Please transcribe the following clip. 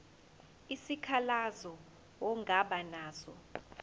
isikhalazo ongaba naso